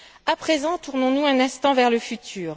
À présent, tournons nous un instant vers le futur.